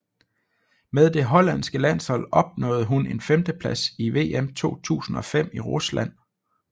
Med det hollandske landshold opnåede hun en femteplads i VM 2005 i Rusland